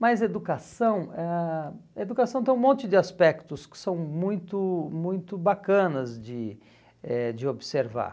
Mas educação ãh educação tem um monte de aspectos que são muito muito bacanas de eh de observar.